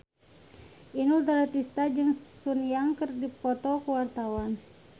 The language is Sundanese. Inul Daratista jeung Sun Yang keur dipoto ku wartawan